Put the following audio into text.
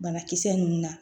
Banakisɛ ninnu na